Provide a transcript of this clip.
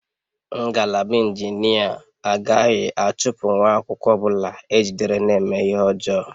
Ngalaba injinia agaghị achụpụ nwa akwụkwọ ọ bụla ejidere na-eme ihe ọjọọ